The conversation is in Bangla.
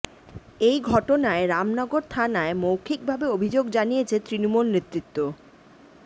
এই ঘটনায় রামনগর থানায় মৌখিকভাবে অভিযোগ জানিয়েছে তৃণমূল নেতৃত্ব